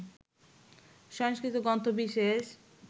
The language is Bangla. সংস্কৃত গ্রন্থ বিশেষ